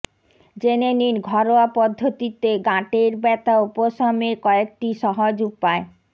জেনে নিন ঘরোয়া পদ্ধতিতে গাঁটের ব্যথা উপশমের কয়েকটি সহজ উপায়